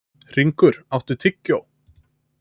Hringur, áttu tyggjó?